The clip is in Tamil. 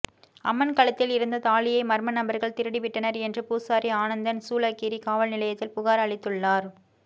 அம்மன் கழுத்தில் இருந்த தாலியை மர்ம நபர்கள் திருடிவிட்டனர் என்று பூசாரி ஆனந்தன சூளகிரி காவல் நிலையத்தில் புகார் அளித்துள்ளார்ன்